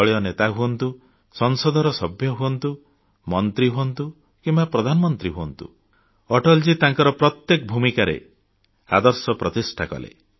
ଦଳୀୟ ନେତା ହୁଅନ୍ତୁ ସଂସଦର ସଭ୍ୟ ହୁଅନ୍ତୁ ମନ୍ତ୍ରୀ ହୁଅନ୍ତୁ କିମ୍ବା ପ୍ରଧାନମନ୍ତ୍ରୀ ହୁଅନ୍ତୁ ଅଟଳଜୀ ତାଙ୍କର ପ୍ରତ୍ୟେକ ଭୂମିକାରେ ଆଦର୍ଶ ପ୍ରତିଷ୍ଠା କରିଛନ୍ତି